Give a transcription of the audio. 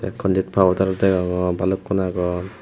kolit paudar ow dagogor baluku aagon.